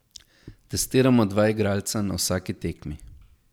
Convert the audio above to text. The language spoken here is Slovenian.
Testiramo dva igralca na vsaki tekmi.